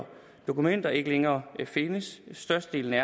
dokumenter ikke længere findes størstedelen af